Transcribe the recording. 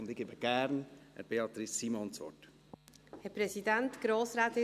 Ich erteile nun gerne Beatrice Simon das Wort.